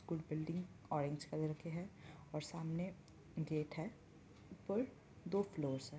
कुछ building orange colour के हैं और सामने गेट है ऊपर दो फ्लोर्स हैं।